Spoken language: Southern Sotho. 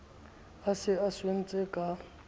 a se a swentse ka